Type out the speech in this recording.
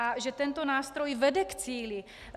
A že tento nástroj vede k cíli.